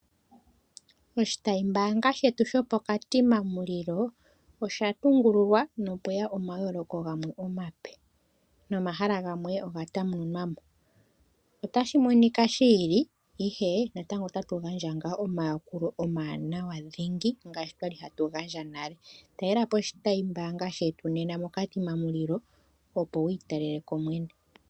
Oshitayimbaanga shetu shopOkatimamulilo osha tungululwa na opweya omayooloko gamwe omape. Nomahala gamwe o ga tamununwamo otashi monika shi ili ihe natango otatu gandja ngaa omayakulo omawanawa dhingi ngaashi twali hatu gandja nale. Talela po oshitayimbaanga shetu nena mOkatimamulilo opo wu italele ko mwene.